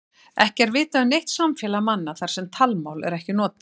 Ekki er vitað um neitt samfélag manna þar sem talmál er ekkert notað.